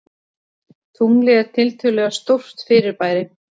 Tunglið er tiltölulega stórt fyrirbæri.